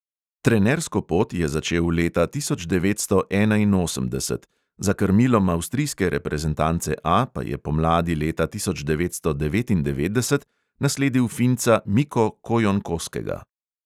Trenersko pot je začel leta tisoč devetsto enainosemdeset, za krmilom avstrijske reprezentance A pa je pomladi leta tisoč devetsto devetindevetdeset nasledil finca miko kojonkoskega.